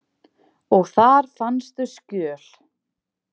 Og þar fannstu skjöl?